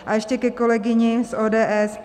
A ještě ke kolegyni z ODS.